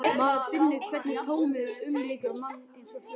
Maður finnur hvernig tómið umlykur mann, eins og hljóð.